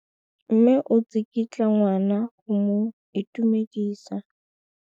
Mme o tsikitla ngwana go mo itumedisa.